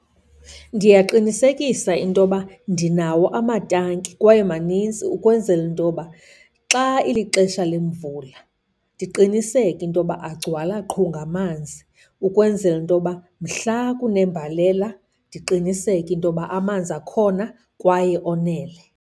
Ndiyaqinisekisa into yoba ndinawo amatanki kwaye maninzi ukwenzela into yoba xa ilixesha lemvula, ndiqiniseke intoba agcwala qhu ngamanzi ukwenzela intoba mhla kunembalela ndiqiniseke intoba amanzi akhona kwaye onele.